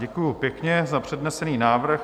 Děkuji pěkně za přednesený návrh.